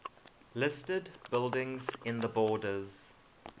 listed buildings in the borders